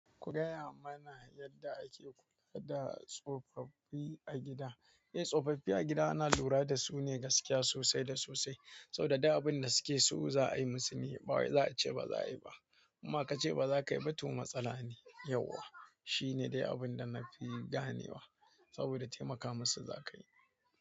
Ku gaya mana yadda ake kula da tsofaffi a gida? Eh, tsofaffi a gida ana lura dasu ne gaskiya sosai da sosai. Saboda duk abin da suke so za'a yi musu ne, bawai za'a ce baza'a yi ba. Inma kace bazakayi ba to matsala ne. Shine dai abinda nafi gane wa. Saboda taimaka musu za kayi.